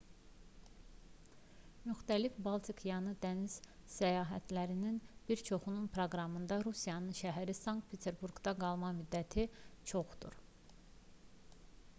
müxtəlif baltikyanı dəniz səyahətlərinin bir çoxunun proqramında rusiyanın şəhəri sankt-peterburqda qalma müddəti çoxdur